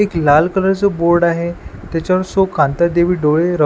एक लाल कलर च बोर्ड आहे त्याच्यावर सो कांता देवी डोळे--